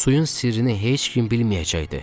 Suyun sirrini heç kim bilməyəcəkdi.